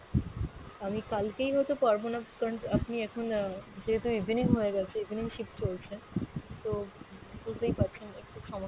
আমি কালকেই হয়তো পারবো না কারণ আপনি এখন আহ যেহেতু evening হয়ে গেছে evening shift চলছে, তো বুঝতেই পারছেন একটু সমস্যা,